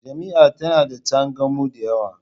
Jami'a tana da tsangayu da yawa